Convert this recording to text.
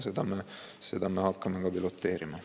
Ja seda me hakkame ka piloteerima.